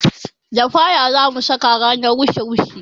Lafaya zamu saka ranar wushe wushe